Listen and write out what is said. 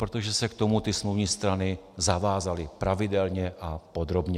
Protože se k tomu ty smluvní strany zavázaly - pravidelně a podrobně.